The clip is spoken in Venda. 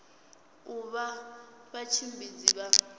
u vha na vhatshimbidzi vha